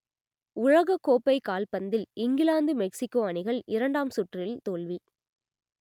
உலகக்கோப்பை கால்பந்தில் England Mexico அணிகள் இரண்டாம் சுற்றில் தோல்வி